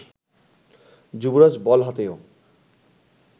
যুবরাজ ball হাতেও